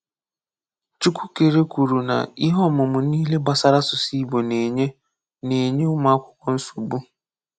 Chukwukere kwuru na ihe ọmụmụ niile gbasara asụsụ Ị̀gbò na-enye na-enye ụmụakwụkwọ nsogbu.